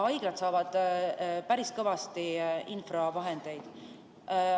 Haiglad saavad päris kõvasti infravahendeid.